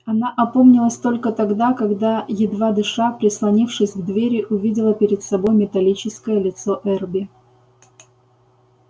она опомнилась только тогда когда едва дыша прислонившись к двери увидела перед собой металлическое лицо эрби